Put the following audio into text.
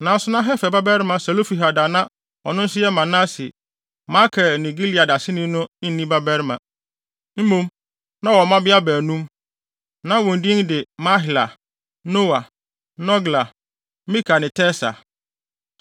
Nanso na Hefer babarima Selofehad a na ɔno nso yɛ Manase, Makir ne Gilead aseni no nni mmabarima. Mmom, na ɔwɔ mmabea baanum. Na wɔn din de Mahla, Noa, Hogla, Milka ne Tirsa.